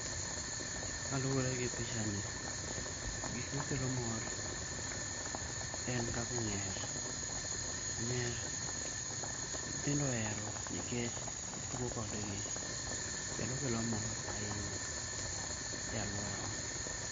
Kaluore gi pichani gik makelo mor en kaka ong'er, ong'er nyithindo ohero nikech tugo kodgi, kendo kelo mor ahinya e aluorawa